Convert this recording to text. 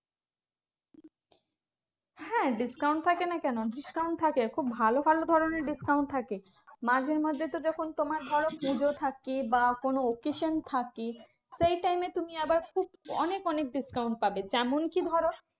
হ্যাঁ discount থাকে না কেন? discount থাকে খুব ভালো ভালো ধরণের discount থাকে। মাঝে মধ্যে তো যখন তোমার ধরো পুজো থাকে বা কোনো occasion থাকে। সেই time এ তুমি আবার খুব অনেক অনেক discount পাবে। তেমনকি ধরো